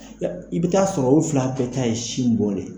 I bɛ taa sɔrɔ o fila ka taa ye sin bon de